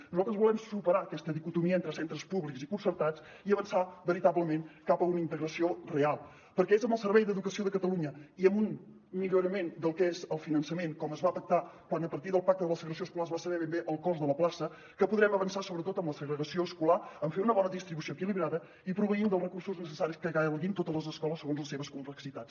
nosaltres volem superar aquesta dicotomia entre centres públics i concertats i avançar veritablement cap a una integració real perquè és amb el servei d’educació de catalunya i amb un millorament del que és el finançament com es va pactar quan a partir del pacte de la segregació escolar es va saber ben bé el cost de la plaça que podrem avançar sobretot en la segregació escolar en fer una bona distribució equilibrada i proveint dels recursos necessaris que calguin totes les escoles segons les seves complexitats